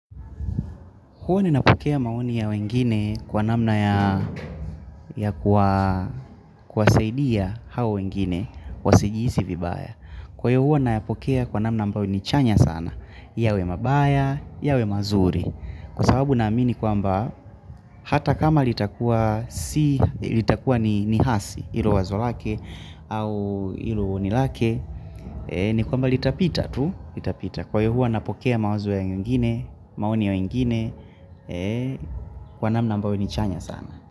Huwa ninapokea maoni ya wengine kwa namna ya kuwasaidia hao wengine wasijihisi vibaya. Kwa hio huwa nayapokea kwa namna ambao ni chanya sana. Yawe mabaya, yawe mazuri. Kwa sababu naamini kwamba hata kama litakua ni hasi ilo wazo lake au ilo oni lake. Ni kwamba litapita tu. Itapita kwa hio huwa napokea mawazo ya wengine maoni ya wengine Kwa namna ambayo ni chanya sana.